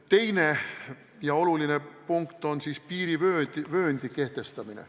Teine oluline punkt on piirivööndi kehtestamine.